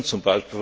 Wir können z.